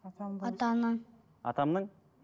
атаның атамның